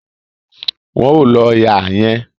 Wọn ò lo ihà yẹn